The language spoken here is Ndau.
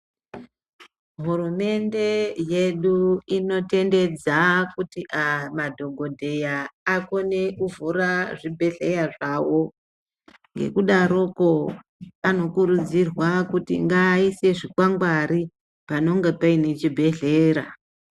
Hurumende yedu inotendedza kuti madhogodheya akone kuvhura zvibhedhleya zvavo. Ngekudaroko anokurudzirwa kuti ngaaise zvikwangwari panonga paine chibhehlera.